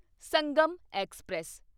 Sangam express